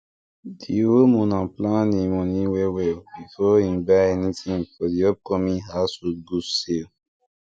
di homeowner plan him money well well before him buy anything for the upcoming household goods sale